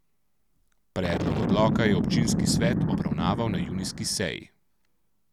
Predlog odloka je občinski svet obravnaval na junijski seji.